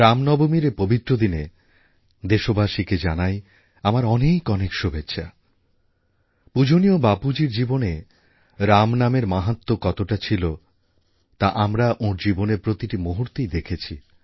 রামনবমীর এই পবিত্র দিনে দেশবাসীকে জানাই আমার অনেক অনেক শুভেচ্ছা পূজনীয় বাপুজীর জীবনে রামনামের মাহাত্ম্য কতটা ছিল তা আমরা ওঁর জীবনের প্রতিটি মুহূর্তেই দেখেছি